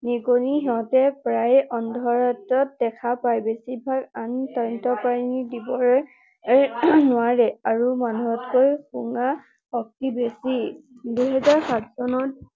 নিগনি সিহতে প্ৰায়ে আন্ধাৰত দেখা পায়। বেছিভাগ আন স্তন্যপায়ী জীৱই নোৱাৰে আৰু মানুহতকৈ শুঙা শক্তি বেছি। দুহেজাৰ সাত চনত